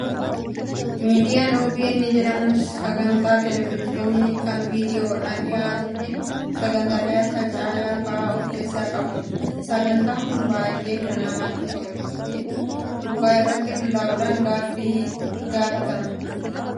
Miidiyaan "OBN" jedhamu sagantaa televezyiinii kan viidiyoodhaan dhiyaatuu fi sagantaalee Akka caayaa fa'aa of keessaa qabudha. Sagantaa kanarrati namoota naannoo tokko bakka bu'antu gaafatama. Sagantaan Kun baay'ee kan natti tole dhugaa irratti hundaa'uun gaaffii gaafatam